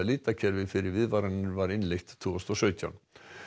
litakerfi fyrir viðvaranir var innleitt tvö þúsund og sautján